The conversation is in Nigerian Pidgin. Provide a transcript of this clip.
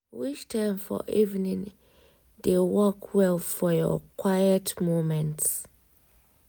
which time for evening dey work well for your quiet moments?